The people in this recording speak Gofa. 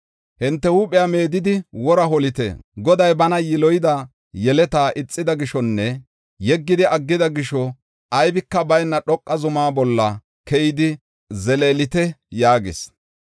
Hinte huuphiya meedidi wora holite. Goday bana yiloyida yeleta ixida gishonne yeggidi aggida gisho aybika bayna dhoqa zumaa bolla keyidi zeleelite” yaagis.